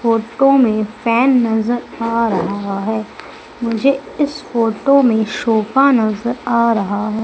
Photo में fan नजर आ रहा है मुझे इस फोटो में सोफा नजर आ रहा है।